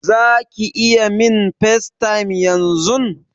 Zaki iya min FaceTime yanzun?